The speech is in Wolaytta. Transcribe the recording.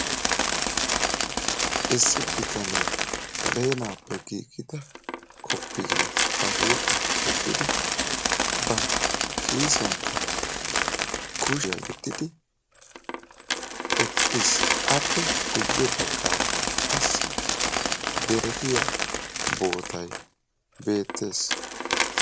Issi bitanee saleenaappe giigida kofiyiyaa ba huuphphiyaan wottidi ba kiisiyaanikka kushiyaa yeddidi eqqiis. appe guye baggaarakka qassi derettiyaa bootay beettees.